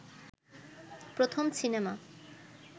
প্রথম সিনেমা